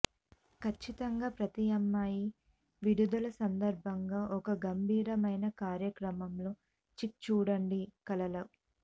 ఖచ్చితంగా ప్రతి అమ్మాయి విడుదల సందర్భంగా ఒక గంభీరమైన కార్యక్రమంలో చిక్ చూడండి కలలు